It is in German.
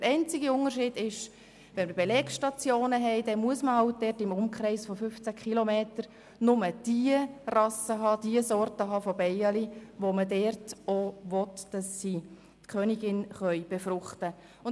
Wenn wir Belegstationen haben, müssen wir darauf achten, im Umkreis von 15 km nur diejenigen Bienenrassen zu haben, die man dort züchten will, damit sie die Königinnen befruchten können.